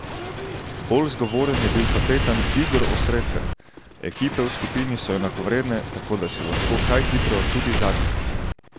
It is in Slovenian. Bolj zgovoren je bil kapetan Igor Osredkar: "Ekipe v skupini so enakovredne, tako da si lahko kaj hitro tudi zadnji.